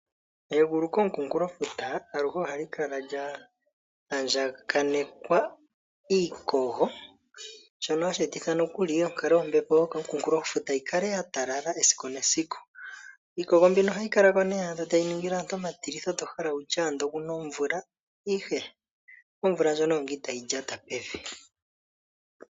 Egulu komukunkulofuta aluhe ohali kala lya andjakanekwa iikogo, shono hashi etitha nokuli onkalo yombepo yokomukunkulofuto yi kale ya talala esiku nesiku. Iikogo mbino ohayi kala ko nee to adha tayi ningile aantu omatilitho to hala wu tye oku na omvula, ihe omvula ndjono oyo ngaa itaayi lyata pevi.